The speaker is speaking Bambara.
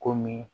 Komi